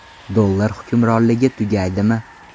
Dollar hukmronligi tugaydimi?